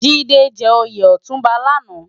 Jide jè óyé òtúnbá làná